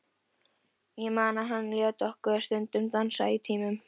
Ég man að hann lét okkur stundum dansa í tímunum.